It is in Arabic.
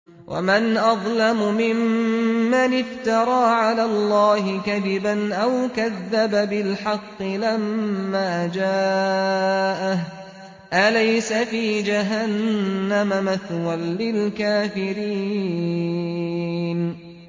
وَمَنْ أَظْلَمُ مِمَّنِ افْتَرَىٰ عَلَى اللَّهِ كَذِبًا أَوْ كَذَّبَ بِالْحَقِّ لَمَّا جَاءَهُ ۚ أَلَيْسَ فِي جَهَنَّمَ مَثْوًى لِّلْكَافِرِينَ